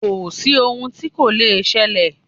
Kò sí ohun tí kò le ṣẹlẹ̀.